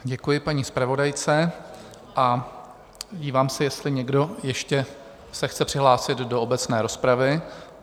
Děkuji paní zpravodajce a dívám se, jestli někdo ještě se chce přihlásit do obecné rozpravy.